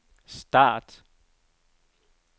start